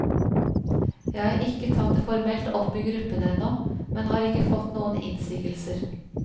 Jeg har ikke tatt det formelt opp i gruppen ennå, men har ikke fått noen innsigelser.